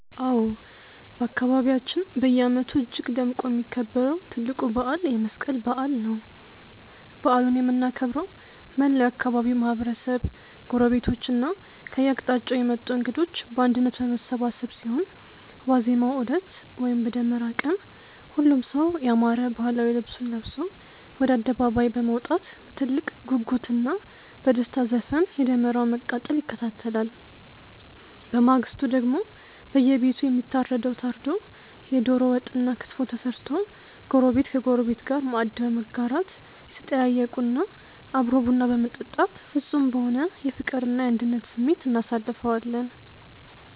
አዎ፣ በአካባቢያችን በየዓመቱ እጅግ ደምቆ የሚከበረው ትልቁ በዓል የመስቀል በዓል ነው። በዓሉን የምናከብረው መላው የአካባቢው ማህበረሰብ፣ ጎረቤቶችና ከየአቅጣጫው የመጡ እንግዶች በአንድነት በመሰባሰብ ሲሆን፣ ዋዜማው ዕለት (በደመራ ቀን) ሁሉም ሰው ያማረ ባህላዊ ልብሱን ለብሶ ወደ አደባባይ በመውጣት በትልቅ ጉጉትና በደስታ ዘፈን የደመራውን መቃጠል ይከታተላል። በማግስቱ ደግሞ በየቤቱ የሚታረደው ታርዶ፣ የደሮ ወጥና ክትፎ ተሰርቶ ጎረቤት ከጎረቤት ጋር ማዕድ በመጋራት፣ እየተጠያየቁና አብሮ ቡና በመጠጣት ፍጹም በሆነ የፍቅርና የአንድነት ስሜት እናሳልፈዋለን።